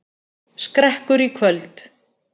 Skrekkur í kvöld